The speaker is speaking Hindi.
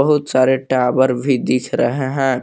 बहुत सारे टावर भी दिख रहे हैं।